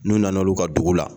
N'u nana olu ka dugu la